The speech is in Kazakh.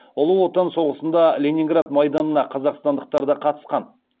ұлы отан соғысында ленинград майданына қазақстандықтар да қатысқан